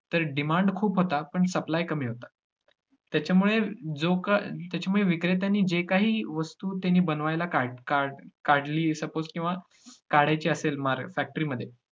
तर demand खूप होता पण supply कमी होता. त्याच्यामुळे जो का~ त्याच्यामुळे विक्रेत्यांनी जे काही वस्तु त्यांनी बनवायला काढ~ काढ~ काढली आहे suppose किंवा काढायची असेल मा~ factory मध्ये तर